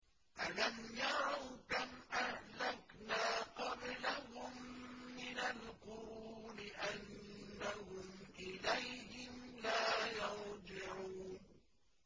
أَلَمْ يَرَوْا كَمْ أَهْلَكْنَا قَبْلَهُم مِّنَ الْقُرُونِ أَنَّهُمْ إِلَيْهِمْ لَا يَرْجِعُونَ